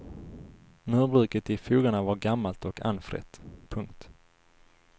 Murbruket i fogarna var gammalt och anfrätt. punkt